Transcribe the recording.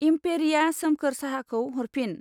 एम्पेरिया सोमखोर साहाखौ हरफिन